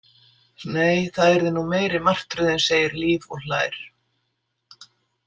Nei, það yrði nú meiri martröðin, segir Líf og hlær.